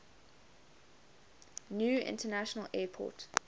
new international airport